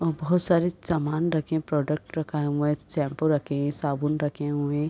और बहुत सारे सामान रखे हैं प्रोडक्ट रखा हुआ है शैम्पू रखे हैं साबुन रखे हुए हैं।